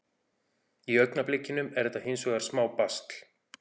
Í augnablikinu er þetta hins vegar smá basl.